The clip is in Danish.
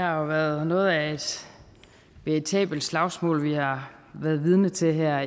jo været noget af et veritabelt slagsmål vi har været vidne til her